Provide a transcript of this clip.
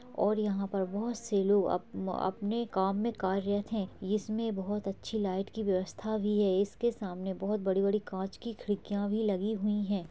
और यहाँ पर बहुत से लोग अपन-- अपने काम में कार्यत है इसमें बहुत अच्छी लाइट की व्यवस्था भी है इसके सामने बहोत बड़ी-बड़ी कांच की खिड़कियां भी लगी हुई है।